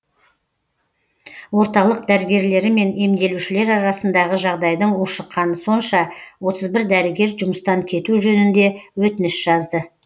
орталық дәрігерлері мен емделушілер арасындағы жағдайдың ушыққаны сонша отыз бір дәрігер жұмыстан кету жөнінде өтініш жазды